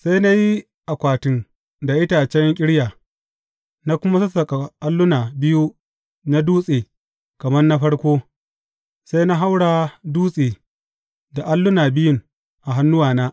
Sai na yi akwatin da itacen ƙirya, na kuma sassaƙa alluna biyu na dutse kamar na farko, sai na haura dutse da alluna biyun a hannuwana.